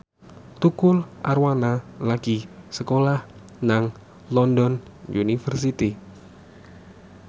Tukul Arwana lagi sekolah nang London University